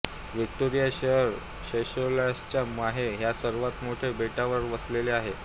Victoria शहर सेशेल्सच्या Mahe ह्या सर्वात मोठ्या बेटावर वसले आहे